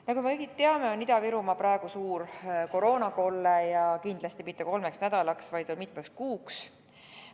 Nagu me kõik teame, on Ida-Virumaa praegu suur koroonakolle ja kindlasti mitte kolmeks nädalaks, vaid mitmeks kuuks.